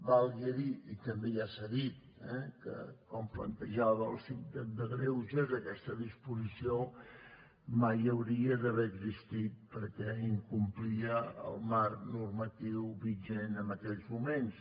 valgui dir i també ja s’ha dit eh que com plantejava el síndic de gregues aquesta disposició mai hauria d’haver existit perquè incomplia el marc normatiu vigent en aquells moments